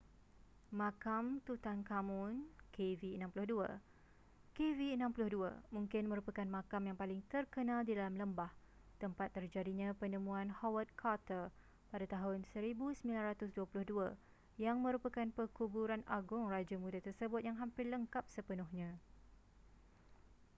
makam tutankhamun kv62. kv62 mungkin merupakan makam yang paling terkenal di dalam lembah tempat terjadinya penemuan howard carter pada tahun 1922 yang merupakan perkuburan agung raja muda tersebut yang hampir lengkap sepenuhnya